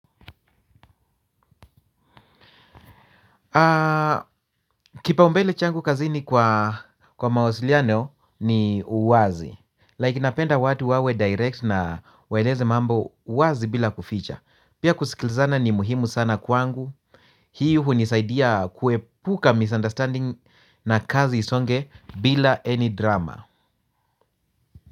Kipaumbele changu kazini kwa mawasiliano ni uwazi Like napenda watu wawe direct na waeleze mambo wazi bila kuficha pia kusikilizana ni muhimu sana kwangu. Hii hunisaidia kuepuka misunderstanding na kazi isonge bila any drama.